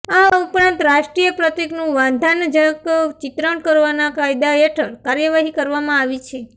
આ ઉપરાંત રાષ્ટ્રીય પ્રતિકનું વાંધાનજક ચિત્રણ કરવાના કાયદા હેઠળ કાર્યવાહી કરવામાં આવી છે